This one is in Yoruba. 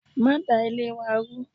Ma da Ilé wa rú